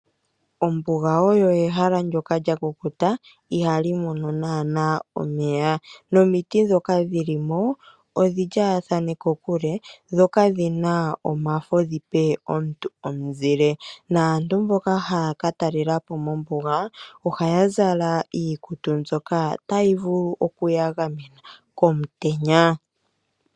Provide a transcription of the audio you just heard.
Ombuga oyo ehala ndyoka lyakukuta ihali mono naana omeya. Nomiti ndhoka dhili mo odhi lyaathane kokule dho kadhi na omafa dhipe aantu omuzile naantu mboka haya ka talela po mombuga ohaya zala iikutu mbyoka tayi vulu okuyagamna komutenya.